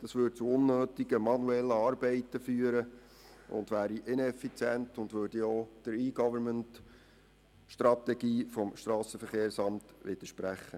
Das würde zu unnötigen manuellen Arbeiten führen, es wäre ineffizient und widerspräche auch der E-Government-Strategie des SVSA.